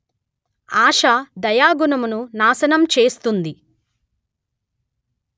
ఆశ దయాగుణమును నాశనము చేస్తుంది